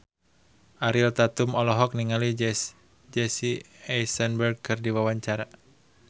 Ariel Tatum olohok ningali Jesse Eisenberg keur diwawancara